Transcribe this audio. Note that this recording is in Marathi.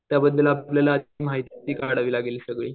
त्याबद्दल आपल्याला माहिती काढावी लागेल सगळी.